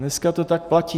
Dneska to tak platí.